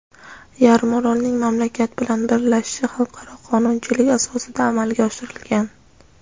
yarimorolning mamlakat bilan birlashishi xalqaro qonunchilik asosida amalga oshirilgan.